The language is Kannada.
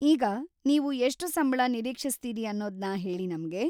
ಈಗ, ನೀವು ಎಷ್ಟು ಸಂಬಳ ನಿರೀಕ್ಷಿಸ್ತೀರಿ ಅನ್ನೋದ್ನ ಹೇಳಿ ನಮ್ಗೆ.